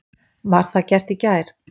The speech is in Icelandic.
Var það gert í gær.